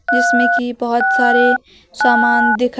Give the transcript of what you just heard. जिसमें की बहोत सारे सामान दिखा--